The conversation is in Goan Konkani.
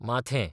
माथें